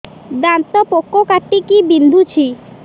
ଦାନ୍ତ ପୋକ କାଟିକି ବିନ୍ଧୁଛି